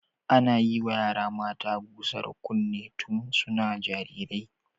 Ana yiwa yara mata gusar kunne tun suna jarirai.